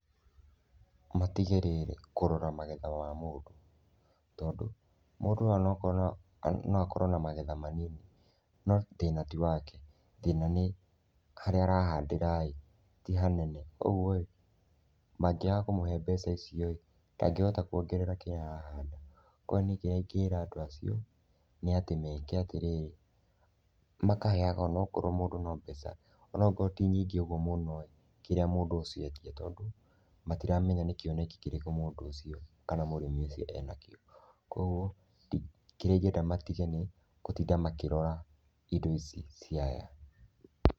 Matige rĩrĩ, kũrora magetha ma mũndũ tondũ mũndũ ona akorwo no akorwo na magetha manini no thĩna ti wake, thĩna nĩ harĩa arahamdĩra-ĩ, ti hanene. Ũguo-ĩ, mangĩaga kũmũhe mbeca icio-ĩ, ndangĩhota kuongerera kĩríĩ arahanda. Kũoguo niĩ kĩrĩa ingĩra andũ acio nĩ atĩ meke atĩrĩrĩ, makaheaga mũndũ onakorwo no mbeca, ona akorwo ti nyingĩ mũno-ĩ, kĩrĩa mũndũ ũcio etia tondũ matiramenya nĩ kĩoneki kĩrĩkũ mũndũ ũcio kana mũrĩmi ũcio enakĩo. Koguo kĩrĩa ingĩenda matige nĩ gũtinda makĩrora indo ici cia aya.